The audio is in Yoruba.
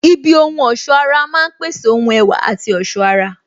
Ibi ohun ọ̀sọ́ ara máa ń pèsè ohun ẹwà àti ọ̀ṣọ́ ara